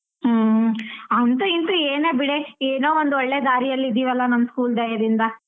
ಹ್ಮ್ ಅಂತು ಇಂತು ಏನೇ ಬಿಡೆ ಏನೋ ಒಂದು ಒಳ್ಳೆ ದಾರಿಯಲಿ ಇದೀವಲ್ಲಾ ನಮ್ school ದಯದಿಂದ.